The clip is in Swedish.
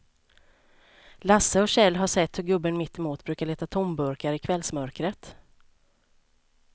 Lasse och Kjell har sett hur gubben mittemot brukar leta tomburkar i kvällsmörkret.